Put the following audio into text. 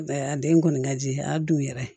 A den kɔni ka di a dun yɛrɛ